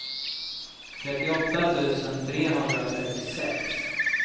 trettioåtta tusen trehundratrettiosex